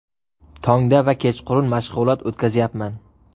Tongda va kechqurun mashg‘ulot o‘tkazyapman.